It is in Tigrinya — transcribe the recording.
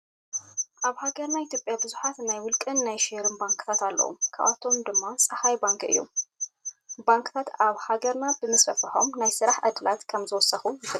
ኣብ ሃገርና ኢትዮጵያ ብዙሓት ናይ ውልቀን ናይ ሸርን ባንክታት ኣለው። ካብኣቶም ድማ ፀሃይ ባንኪ እዩ። ባንክታት ኣብ ሀገርና ምስፍሕፋሖም ናይ ስራሕ ዕድላት ከም ዘወስኹ ይፍለጥ።